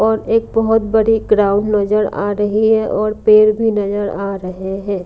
और एक बहोत बड़े ग्राउंड नजर आ रही है और पेड़ भी नजर आ रहे हैं।